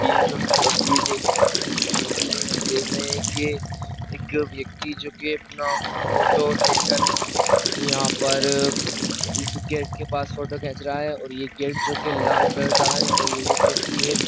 ये जो हम तस्वीर देख रहे हैं इस तस्वीर में हम देख रहे हैं के एक व्यक्ति जो के अपना फोटो लेकर यहाँ पर इस गेट के पास फोटो खेच रहा है और ये गेट जो के लाल कलर का है और ये व्यक्ति है --